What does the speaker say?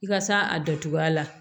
I ka s'a a dacogo la